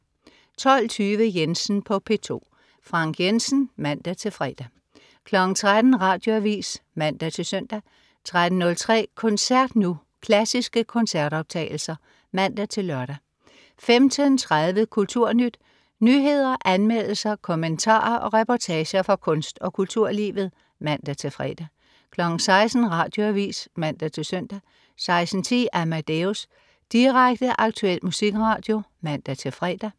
12.20 Jensen på P2. Frank Jensen (man-fre) 13.00 Radioavis (man-søn) 13.03 Koncert Nu. Klassiske koncertoptagelser (man-lør) 15.30 Kulturnyt. Nyheder, anmeldelser, kommentarer og reportager fra kunst- og kulturlivet (man-fre) 16.00 Radioavis (man-søn) 16.10 Amadeus. Direkte, aktuel musikradio (man-fre)